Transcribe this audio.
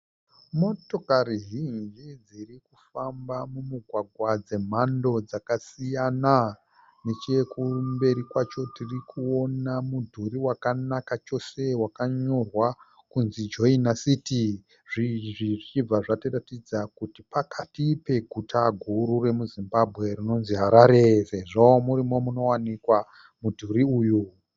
Motokari zhinji dzirikufamba mumugwagwa dzemhando dzakasiyana. Nechekumberi kwacho tirikuona mudhuri wakanaka chose wakanyorwa kunzi Joina City zvichibva zvatiratidza kuti pakati peguta guru remuZimbabwe rinonzi Harare sezvo murimo munowanikwa mudhuri uyu.